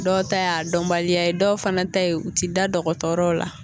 Dɔw ta y'a dɔnbaliya ye dɔw fana ta ye u ti da dɔgɔtɔrɔ la